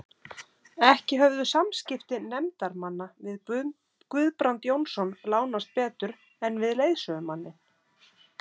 Ekki höfðu samskipti nefndarmanna við Guðbrand Jónsson lánast betur en við leiðsögumanninn.